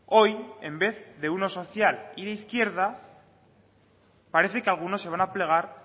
hoy en vez de uno social y de izquierda parece que algunos se van a plegar